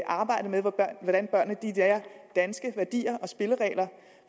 arbejde med hvordan børnene lærer danske værdier og spilleregler